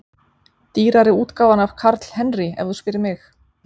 Dýrari útgáfan af Karl Henry ef þú spyrð mig.